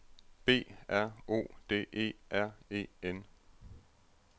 B R O D E R E N